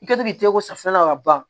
I kɛtɔ k'i tɛgɛ ko safunɛ na ka ban